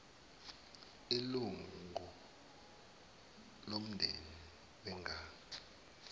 ilunga lomndeni wengane